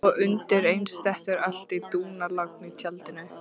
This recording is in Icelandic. Og undir eins dettur allt í dúnalogn í tjaldinu.